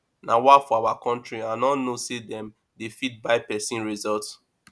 nawa for our country i no know say dem they fit buy person result